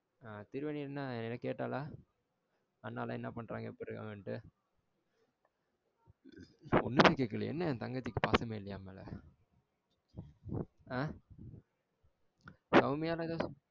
திருவேணி என்ன கேட்டால? நல்லா என்ன பண்றாங்க எப்டி இருக்கங்கனுட்டு? ஒண்ணுமே கேக்கலையா? என்ன என் தங்கச்சிக்கு பாசமே இல்லையா என் மேல ஆ சௌமியா